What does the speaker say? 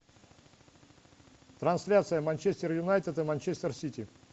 трансляция манчестер юнайтед и манчестер сити